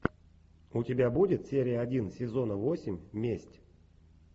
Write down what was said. у тебя будет серия один сезона восемь месть